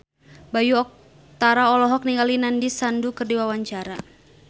Bayu Octara olohok ningali Nandish Sandhu keur diwawancara